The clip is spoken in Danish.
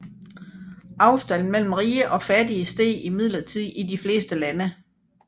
Afstanden mellem rige og fattige steg imidlertid i de fleste lande